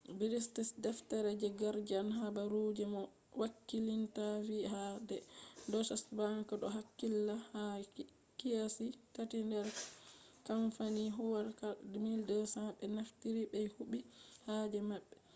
british deftere the guardian habaru je moh hakkilinta vi'i ha do deutsche bank do hakkilla ha kiyasi tati nder kamfani huwatako 1200 be naftiri ɓe huɓi haaje maɓɓe